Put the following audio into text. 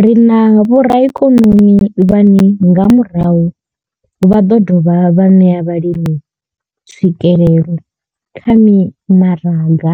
Ri na vhoraikonomi vhane nga murahu vha ḓo dovha vha ṋea vhalimi tswikelelo kha mimaraga